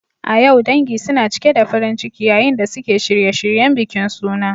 A yau, dangi suna cike da farin ciki yayin da suke shirye-shiryen bikin suna.